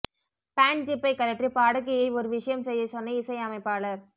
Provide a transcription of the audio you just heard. pant ஜிப்பை கழற்றி பாடகியை ஒரு விஷயம் செய்யச் சொன்ன இசை அமைப்பாளர்